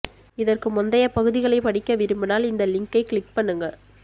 இதற்கு முந்தைய பகுதிகளை படிக்க விரும்பினால் இந்த லிங்கை க்ளிக் பண்ணுங்க